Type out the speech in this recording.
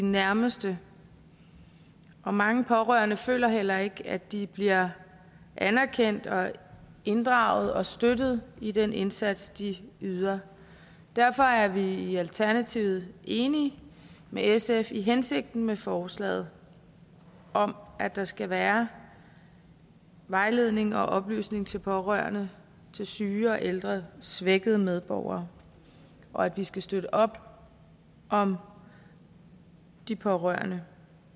nærmeste mange pårørende føler heller ikke at de bliver anerkendt og inddraget og støttet i den indsats de yder derfor er vi i alternativet enige med sf i hensigten med forslaget om at der skal være vejledning og oplysning til pårørende til syge og ældre svækkede medborgere og at vi skal støtte op om de pårørende